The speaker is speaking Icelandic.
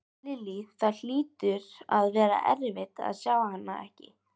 Lillý: Það hlýtur að vera erfitt að sjá hana ekki?